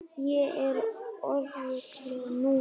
Ég er örugg núna.